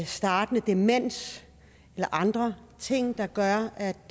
startende demens eller andre ting der gør at